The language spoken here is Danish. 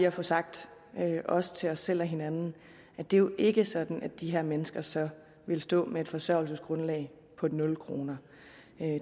at få sagt også til os selv og hinanden at det jo ikke er sådan at de her mennesker så vil stå med et forsørgelsesgrundlag på nul kroner